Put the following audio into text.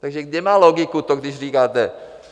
Takže kde má logiku to, když říkáte,